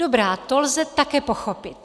Dobrá, to lze také pochopit.